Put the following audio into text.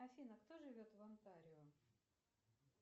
афина кто живет в онтарио